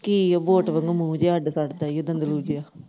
ਕਿ ਬੋਟ ਵਾਂਗੂ ਮੂੰਹ ਜਿਹੜਾ ਅੱਡ ਸੜਦਾ ਦੰਦਲੂ ਜਿਹਾ।